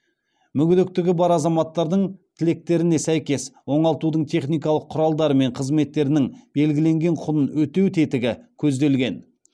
мүгедектігі бар азаматтардың тілектеріне сәйкес оңалтудың техникалық құралдары мен қызметтерінің белгіленген құнын өтеу тетігі көзделген